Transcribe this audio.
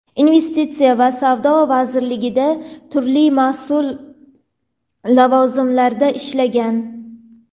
investitsiya va savdo vazirligida turli mas’ul lavozimlarda ishlagan.